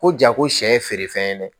Ko ja ko sɛ ye feerefɛn ye dɛ